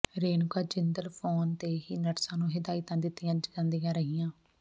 Renuka Jindal phone ਤੇ ਹੀ ਨਰਸਾਂ ਨੂੰ ਹਿਦਾਇਤਾਂ ਦਿੱਤੀਆਂ ਜਾਂਦੀਆਂ ਰਹੀਆਂ